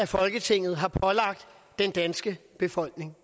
folketinget har pålagt den danske befolkning